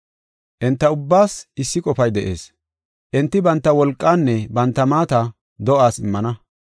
Enta ubbaas issi qofay de7ees; enti banta wolqaanne banta maata do7aas immana.